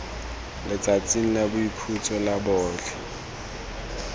letsatsing la boikhutso la botlhe